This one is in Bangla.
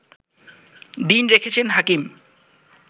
দিন রেখেছেন হাকিম